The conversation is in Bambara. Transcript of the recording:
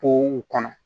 Po kɔnɔ